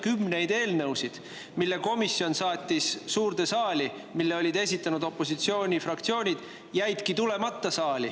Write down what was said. Kümned eelnõud, mis komisjon saatis suurde saali ja mille olid esitanud opositsioonifraktsioonid, jäidki saali tulemata.